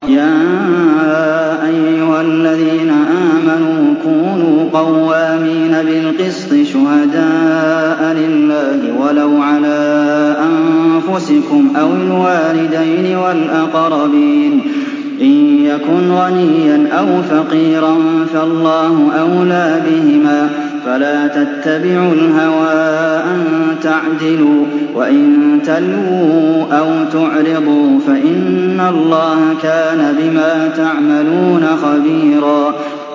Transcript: ۞ يَا أَيُّهَا الَّذِينَ آمَنُوا كُونُوا قَوَّامِينَ بِالْقِسْطِ شُهَدَاءَ لِلَّهِ وَلَوْ عَلَىٰ أَنفُسِكُمْ أَوِ الْوَالِدَيْنِ وَالْأَقْرَبِينَ ۚ إِن يَكُنْ غَنِيًّا أَوْ فَقِيرًا فَاللَّهُ أَوْلَىٰ بِهِمَا ۖ فَلَا تَتَّبِعُوا الْهَوَىٰ أَن تَعْدِلُوا ۚ وَإِن تَلْوُوا أَوْ تُعْرِضُوا فَإِنَّ اللَّهَ كَانَ بِمَا تَعْمَلُونَ خَبِيرًا